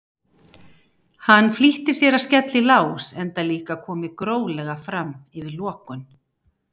Hann flýtti sér að skella í lás enda líka komið gróflega fram yfir lokun.